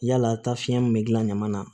Yala taa fiɲɛ min bɛ gilan ɲama na